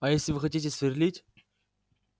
а если вы хотите сверлить